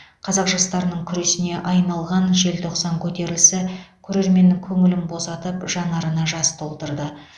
қазақ жастарының күресіне айналған желтоқсан көтерілісі көрерменнің көңілін босатып жанарына жас толтырды